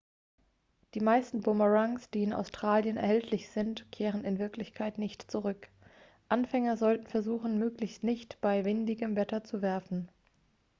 die meisten bumerangs die in australien erhältlich sind kehren in wirklichkeit nicht zurück anfänger sollten versuchen möglichst nicht bei windigem wetter zu werfen